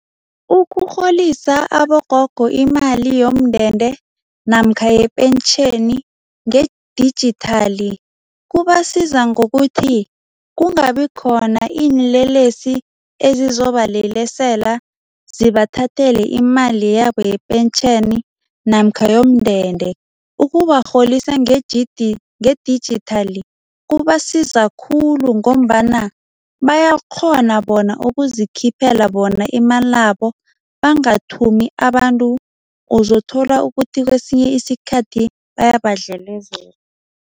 Ukurholisa abogogo imali yomndende namkha yepentjheni ngedijithali kubasiza ngokuthi, kungabikhona iinlelesi ezizobalelesela zibathathele imali yabo yepentjheni namkha yomndende. Ukubarholisa ngedijithali kubasiza khulu ngombana bayakghona bona ukuzikhiphela bona imalabo, bangathumi abantu, uzothola ukuthi kwesinye isikhathi bayabadlelezela.